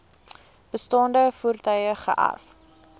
bestaande voertuie geërf